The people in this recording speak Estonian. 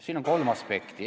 Siin on kolm aspekti.